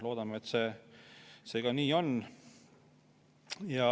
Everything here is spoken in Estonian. Loodame, et see nii on.